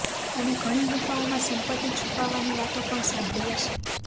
અને ઘણી ગુફાઓમાં સંપત્તિ છુપાવવાની વાતો પણ સાંભળી હશે